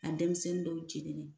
A denmisɛnnin jegina